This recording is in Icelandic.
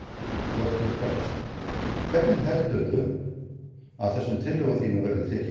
Hjörtur Hjartarson: Hvernig heldurðu að þessum tillögum þínum verði tekið?